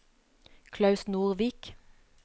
Klaus Nordvik